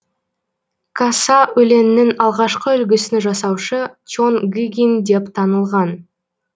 каса өлеңінің алғашқы үлгісін жасаушы чон гыгин деп танылған